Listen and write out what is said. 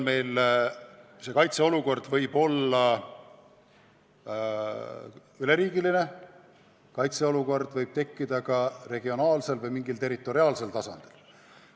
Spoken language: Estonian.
Kaitseolukord võib kindlasti olla üleriigiline, aga see võib tekkida ka mõnes regioonis või mingil muul piiratud territooriumil.